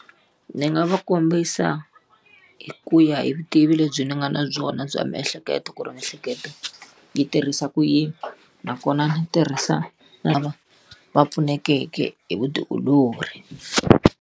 Ndzi nga va kombisa hi ku ya hi vutivi lebyi ndzi nga na byona bya miehleketo ku ri miehleketo, yi tirhisa ku yini nakona ndzi tirhisa lava va pfunekeke hi vutiolori.